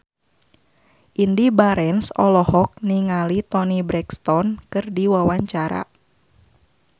Indy Barens olohok ningali Toni Brexton keur diwawancara